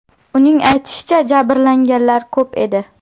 Uning aytishicha, jabrlanganlar ko‘p edi.